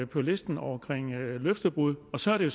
på listen over løftebrud og så er de